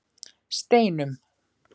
Steinum